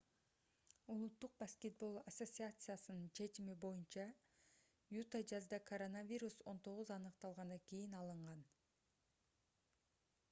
улуттук баскетбол ассоциациясынын чечими оюнчу юта жазда коронавирус-19 аныкталгандан кийин алынган